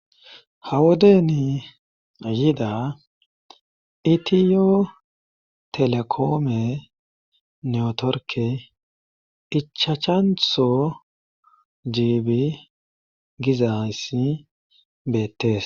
hawodeni yida itiyo telekoome neotorke ichachantho jiibi gizayssi beettes